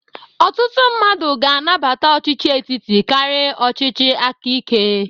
Ọtụtụ mmadụ ga-anabata ọchịchị etiti karị ọchịchị aka ike.